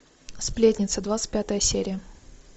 сплетница двадцать пятая серия